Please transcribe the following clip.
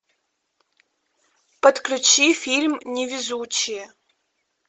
подключи фильм невезучие